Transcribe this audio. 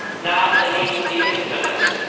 Now they need to be implemented.